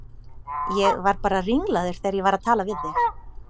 Ég var bara ringlaður þegar ég var að tala við þig.